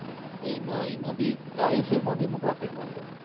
તો ઇમો ઇમો એ શેર માબી હું profit માં હતો.